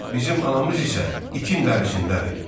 Bizim anamız isə itin dərisindədir.